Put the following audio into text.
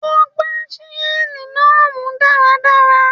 Ó gbá ṣíṣẹ́ẹ̀lì náà mú dáradára.